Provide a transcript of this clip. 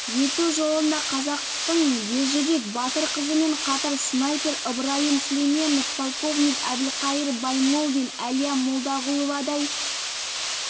ету жолында қазақтың ержүрек батыр қызымен қатар снайпер ыбрайым сүлейменов полковник әбілқайыр баймолдин әлия молдағұловадай